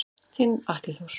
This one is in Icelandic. Þinn Atli Þór.